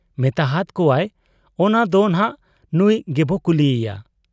ᱢᱮᱛᱟᱦᱟᱫ ᱠᱚᱣᱟᱭ ᱚᱱᱟ ᱫᱚᱱᱷᱟᱜ ᱱᱩᱸᱭ ᱜᱮᱵᱚ ᱠᱩᱞᱤᱭᱮᱭᱟ ᱾